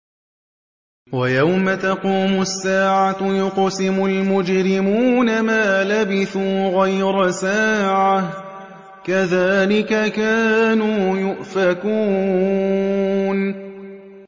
وَيَوْمَ تَقُومُ السَّاعَةُ يُقْسِمُ الْمُجْرِمُونَ مَا لَبِثُوا غَيْرَ سَاعَةٍ ۚ كَذَٰلِكَ كَانُوا يُؤْفَكُونَ